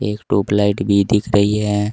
एक ट्यूबलाइट भी दिख रही है।